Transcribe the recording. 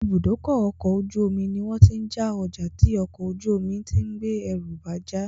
Ìbúdókọ̀ ọ̀kọ̀ ojú omi ní wọ́n tí ń já ọjà tí ọkò ojú omi tí ń gbé ẹrù bá já